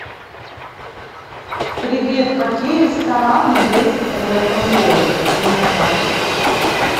привет какие рестораны есть в этом городе где я нахожусь